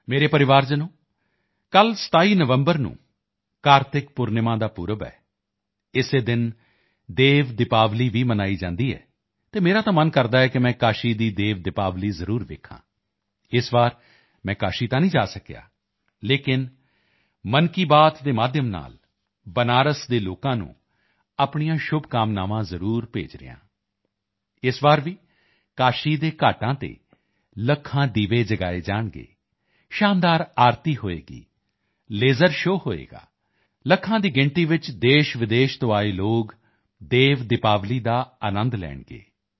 ਮੇਰੇ ਪਰਿਵਾਰਜਨੋਂ ਕੱਲ੍ਹ 27 ਨਵੰਬਰ ਨੂੰ ਕਾਰਤਿਕ ਪੁਰਨਿਮਾ ਦਾ ਪਰਵ ਹੈ ਇਸੇ ਦਿਨ ਦੇਵ ਦੀਪਾਵਲੀ ਭੀ ਮਨਾਈ ਜਾਂਦੀ ਹੈ ਅਤੇ ਮੇਰਾ ਤਾਂ ਮਨ ਕਰਦਾ ਹੈ ਕਿ ਮੈਂ ਕਾਸ਼ੀ ਦੀ ਦੇਵ ਦੀਪਾਵਲੀ ਜ਼ਰੂਰ ਦੇਖਾਂ ਇਸ ਵਾਰ ਮੈਂ ਕਾਸ਼ੀ ਤਾਂ ਨਹੀਂ ਜਾ ਸਕਿਆ ਲੇਕਿਨ ਮਨ ਕੀ ਬਾਤ ਦੇ ਮਾਧਿਅਮ ਨਾਲ ਬਨਾਰਸ ਦੇ ਲੋਕਾਂ ਨੂੰ ਆਪਣੀਆਂ ਸ਼ੁਭਕਾਮਨਾਵਾਂ ਜ਼ਰੂਰ ਭੇਜ ਰਿਹਾ ਹਾਂ ਇਸ ਵਾਰ ਭੀ ਕਾਸ਼ੀ ਦੇ ਘਾਟਾਂ ਤੇ ਲੱਖਾਂ ਦੀਵੇ ਜਗਾਏ ਜਾਣਗੇ ਸ਼ਾਨਦਾਰ ਆਰਤੀ ਹੋਵੇਗੀ ਲੇਜ਼ਰ ਸ਼ੋ ਹੋਵੇਗਾ ਲੱਖਾਂ ਦੀ ਸੰਖਿਆ ਵਿੱਚ ਦੇਸ਼ਵਿਦੇਸ਼ ਤੋਂ ਆਏ ਲੋਕ ਦੇਵ ਦੀਪਾਵਲੀ ਦਾ ਆਨੰਦ ਲੈਣਗੇ